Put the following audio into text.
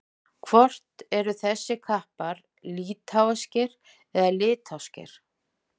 Hvort eru þessir kappar litháískir eða litháskir?